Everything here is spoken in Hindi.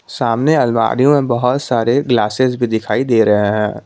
सामने अलमारी में बहोत सारे ग्लासेस भी दिखाई दे रहे हैं।